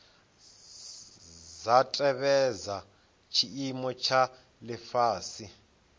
dza tevhedza tshiimo tsha lifhasi